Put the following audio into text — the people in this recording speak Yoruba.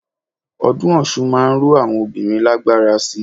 Ọdún Ọ̀ṣun máa ń ró àwọn obìnrin lágbára síi.